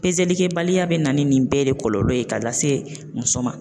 pezelikɛbaliya be na ni nin bɛɛ le kɔlɔlɔ ye ka lase muso ma